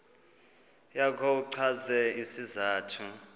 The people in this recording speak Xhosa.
yakho uchaze isizathu